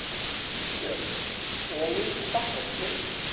Björn: Elín þakka þér fyrir.